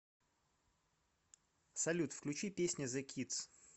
салют включи песня зе кидс